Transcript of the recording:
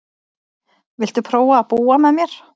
Viltu prófa að búa með mér.